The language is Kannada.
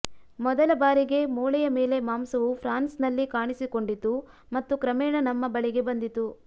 ಮೊದಲ ಬಾರಿಗೆ ಮೂಳೆಯ ಮೇಲೆ ಮಾಂಸವು ಫ್ರಾನ್ಸ್ನಲ್ಲಿ ಕಾಣಿಸಿಕೊಂಡಿತು ಮತ್ತು ಕ್ರಮೇಣ ನಮ್ಮ ಬಳಿಗೆ ಬಂದಿತು